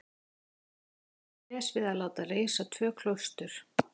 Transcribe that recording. Þarna á Spes við að láta reisa tvö klaustur.